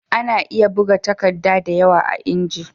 Ana iya buga takadda da yawa a inji